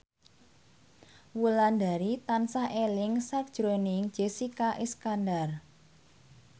Wulandari tansah eling sakjroning Jessica Iskandar